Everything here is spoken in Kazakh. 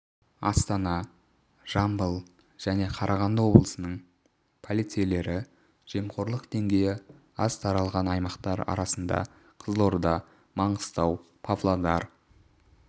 астана жамбыл және қарағанды облысының полицейлері жемқорлық деңгейі аз таралған аймақтар арасында қызылорда маңғыстау павлодар